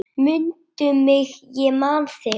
Mundu mig, ég man þig.